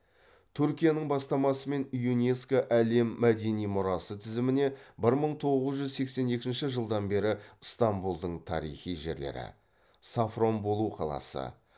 түркияның бастамасымен юнеско әлем мәдени мұрасы тізіміне бір мың тоғыз жүз сексен екінші жылдан бері ыстамбұлдың тарихи жерлері сафранболу қаласы